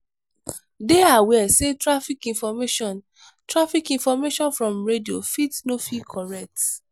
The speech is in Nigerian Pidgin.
dey aware sey traffic information traffic information from radio fit no fey correct